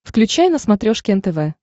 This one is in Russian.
включай на смотрешке нтв